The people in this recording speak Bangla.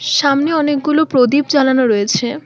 সামনে অনেকগুলো প্রদীপ জ্বালানো রয়েছে।